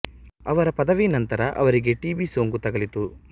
ಅವರ ಪದವಿ ನಂತರ ಅವರಿಗೆ ಟಿ ಬಿ ಸೋಂಕು ತಗುಲಿತು